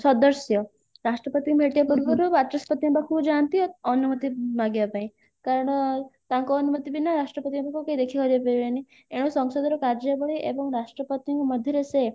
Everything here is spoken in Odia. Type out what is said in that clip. ସଦସ୍ୟ ରାଷ୍ଟ୍ରପତିଙ୍କୁ ଭେଟିବା ପୂର୍ବରୁ ବାଚସ୍ପତିଙ୍କ ପାଖକୁ ଯାଆନ୍ତି ଆଉ ଅନୁମତି ମାଗିବା ପାଇଁ କାରଣ ତାଙ୍କ ଅନୁମତି ବିନା ରାଷ୍ଟ୍ରପତି ଙ୍କ ପାଖକୁ କେହି ଦେଖିବାକୁ ଯାଇପାରିବେନି ଏଣୁ ସଂସଦର କାର୍ଯ୍ୟାବଳୀ ଏବଂ ରାଷ୍ଟ୍ରପତିଙ୍କ ମଧ୍ୟରେ ସେ